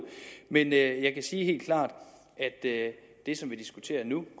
men jeg kan sige helt klart at det som vi diskuterer nu